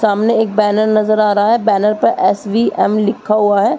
सामने एक बैनर नज़र आ रहा है। बैनर पर एसबीएम लिखा हुआ है।